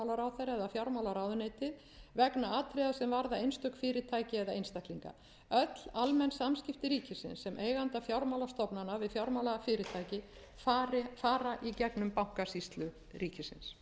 fjármálaráðuneytið vegna atriða sem varða einstök fyrirtæki eða einstaklinga öll almenn samskipti ríkisins sem eiganda fjármálastofnana við fjármálafyrirtæki fara í gegnum bankasýslu ríkisins